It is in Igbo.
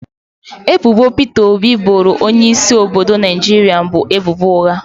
Ebubo Peter Obi boro onye isi obodo Naijiria bụ ebubo ụgha